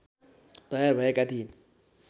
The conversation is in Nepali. तयार भएका थिए